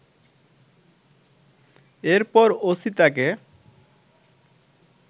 এরপর ওসি তাকে